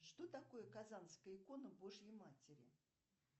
что такое казанская икона божьей матери